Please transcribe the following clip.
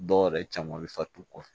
Dɔw yɛrɛ caman bɛ fat'u kɔ